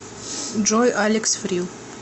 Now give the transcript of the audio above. джой алекс фрил